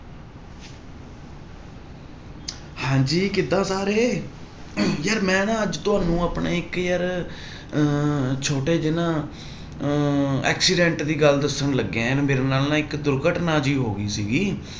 ਹਾਂਜੀ ਕਿੱਦਾਂ ਸਾਰੇ ਯਾਰ ਮੈਂ ਨਾ ਅੱਜ ਤੁਹਾਨੂੰ ਆਪਣੇ ਇੱਕ ਯਾਰ ਅਹ ਛੋਟੇ ਜਿਹੇ ਨਾ ਅਹ accident ਦੀ ਗੱਲ ਦੱਸਣ ਲੱਗਿਆਂ, ਮੇਰੇ ਨਾਲ ਨਾ ਇੱਕ ਦੁਰਘਟਨਾ ਜਿਹੀ ਹੋ ਗਈ ਸੀਗੀ